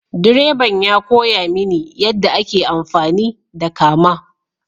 Direban ya koya mini yadda ake amfani da kama.